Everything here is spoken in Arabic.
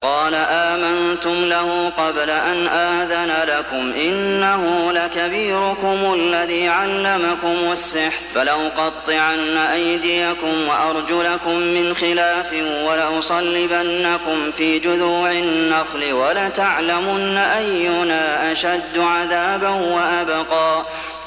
قَالَ آمَنتُمْ لَهُ قَبْلَ أَنْ آذَنَ لَكُمْ ۖ إِنَّهُ لَكَبِيرُكُمُ الَّذِي عَلَّمَكُمُ السِّحْرَ ۖ فَلَأُقَطِّعَنَّ أَيْدِيَكُمْ وَأَرْجُلَكُم مِّنْ خِلَافٍ وَلَأُصَلِّبَنَّكُمْ فِي جُذُوعِ النَّخْلِ وَلَتَعْلَمُنَّ أَيُّنَا أَشَدُّ عَذَابًا وَأَبْقَىٰ